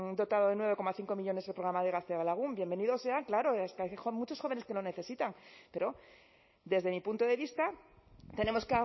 dotado de nueve coma cinco millónes el programa de gaztelagun bienvenidos sean claro es que hay muchos jóvenes que lo necesitan pero desde mi punto de vista tenemos